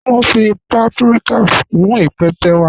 Mọ̀ n fí pàpríkà kún ípẹ̀tẹ́ wa.